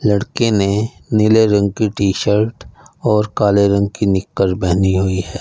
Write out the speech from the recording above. लड़के ने नीले रंग की टी शर्ट और काले रंग की निकर पहनी हुई है।